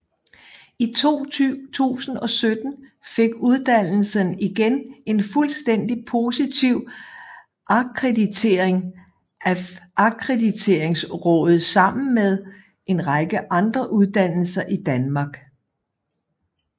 I 2017 fik uddannelsen igen en fuldstændig positiv akkreditering af Akkrediteringsrådet sammen med en række andre uddannelser i Danmark